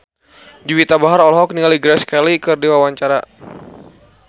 Juwita Bahar olohok ningali Grace Kelly keur diwawancara